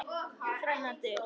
Þrennar dyr.